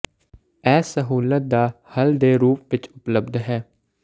ਇਹ ਸਹੂਲਤ ਦਾ ਹੱਲ ਦੇ ਰੂਪ ਵਿਚ ਉਪਲਬਧ ਹੈ